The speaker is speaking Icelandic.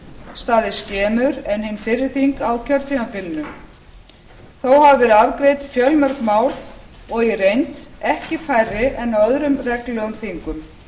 staðið skemur en hin fyrri þing á kjörtímabilinu þó hafa verið afgreidd fjölmörg mál og í reynd ekki færri en á öðrum reglulegum þingum